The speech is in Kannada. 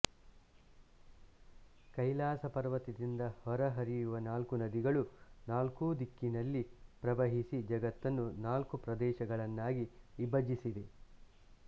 ಕೈಲಾಸಪರ್ವತದಿಂದ ಹೊರಹರಿಯುವ ನಾಲ್ಕು ನದಿಗಳು ನಾಲ್ಕೂ ದಿಕ್ಕಿನಲ್ಲಿ ಪ್ರವಹಿಸಿ ಜಗತ್ತನ್ನು ನಾಲ್ಕು ಪ್ರದೇಶಗಳನ್ನಾಗಿ ವಿಭಜಿಸಿವೆ